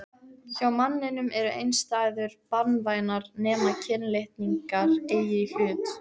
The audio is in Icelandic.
Hjá manninum eru einstæður banvænar nema kynlitningar eigi í hlut.